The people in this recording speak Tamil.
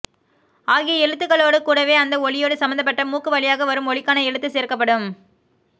ஆகிய எழுத்துக்களோடு கூடவே அந்த ஒலியோடு சம்பந்தப்பட்ட மூக்கு வழியாக வரும் ஒலிக்கான எழுத்து சேர்க்கப்படும்